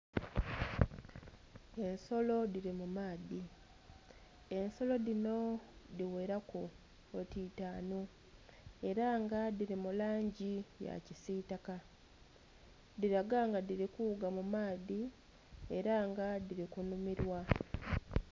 Ensolo dhiri mumaadhi, ensolo dhino dhighera ku oti itanu era nga dhiri mulangi ya kisitaka dhiraga nga dhiri kughuga mumaadhi era nga dhiri kunhumirwa.